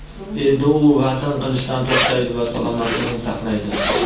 endi u vazn qilishdan to‘xtaydi va salomatligini saqlaydi.